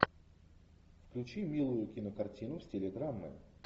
включи милую кинокартину в стиле драмы